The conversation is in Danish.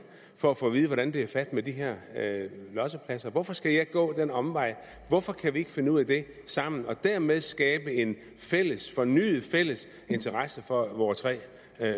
for at få at vide hvordan det er fat med de her lossepladser hvorfor skal jeg gå den omvej hvorfor kan vi ikke finde ud af det sammen og dermed skabe en fornyet fælles interesse for vore tre